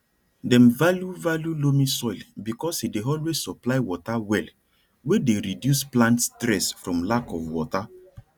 dem value value loamy soil because e dey always supply water well wey dey reduce plant stress from lack of water